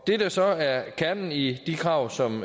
det der så er kernen i de krav som